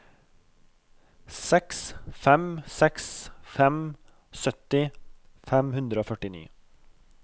seks fem seks fem sytti fem hundre og førtini